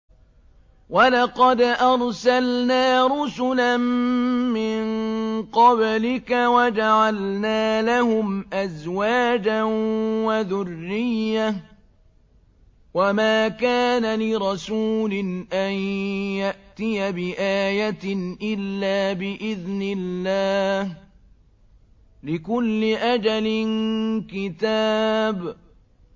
وَلَقَدْ أَرْسَلْنَا رُسُلًا مِّن قَبْلِكَ وَجَعَلْنَا لَهُمْ أَزْوَاجًا وَذُرِّيَّةً ۚ وَمَا كَانَ لِرَسُولٍ أَن يَأْتِيَ بِآيَةٍ إِلَّا بِإِذْنِ اللَّهِ ۗ لِكُلِّ أَجَلٍ كِتَابٌ